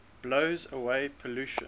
blows away pollution